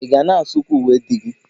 Ị ga na-asụkwa uwe di gị?